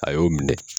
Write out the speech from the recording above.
A y'o minɛ